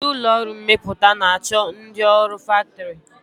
Ndị ụlọọrụ mmepụta na-achọ ndị ọrụ faktọrị